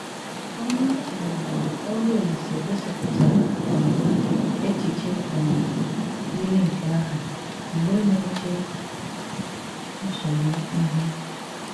Ónyè um ọrụ Òlíse gósípụtárá um échichè um ýírí nké áhụ mgbè ná-éché nsogbu íhù.